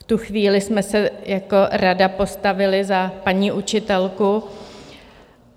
V tu chvíli jsme se jako rada postavili za paní učitelku.